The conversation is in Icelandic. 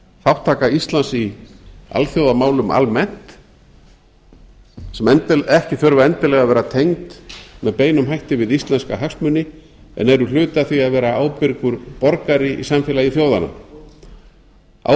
þátttaka íslands í alþjóðamálum almennt sem ekki þurfa endilega að vera tengd með beinum hætti við íslenska hagsmuni en eru hluti af því að vera ábyrgur borgari í samfélagi þjóðanna